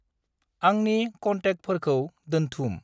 आंनि कन्टेकफोरखौ दोन्थुम।